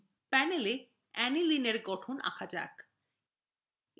panel এ aniline এর গঠন আঁকা যাক